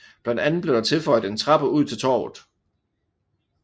Blandt andet blev der tilføjet en trappe ud til Torvet